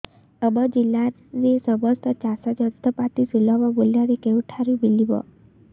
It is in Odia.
ଆମ ଜିଲ୍ଲାରେ ସମସ୍ତ ଚାଷ ଯନ୍ତ୍ରପାତି ସୁଲଭ ମୁଲ୍ଯରେ କେଉଁଠାରୁ ମିଳିବ